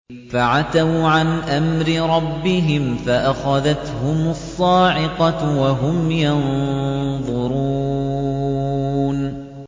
فَعَتَوْا عَنْ أَمْرِ رَبِّهِمْ فَأَخَذَتْهُمُ الصَّاعِقَةُ وَهُمْ يَنظُرُونَ